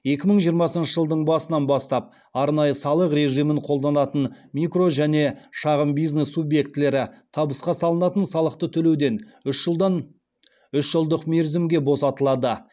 екі мың жиырмасыншы жылдың басынан бастап арнайы салық режимін қолданатын микро және шағын бизнес субъектілері табысқа салынатын салықты төлеуден үш жылдық мерзімге босатылады